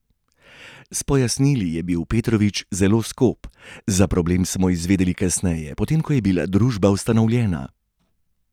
S pojasnili je bil Petrovič zelo skop: "Za problem smo izvedeli kasneje, potem ko je bila družba ustanovljena.